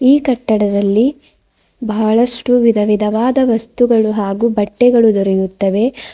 ಈ ಕಟ್ಟಡದಲ್ಲಿ ಬಹಳಷ್ಟು ವಿಧ ವಿಧವಾದ ವಸ್ತುಗಳು ಹಾಗು ಬಟ್ಟೆಗಳು ದೊರೆಯುತ್ತವೆ.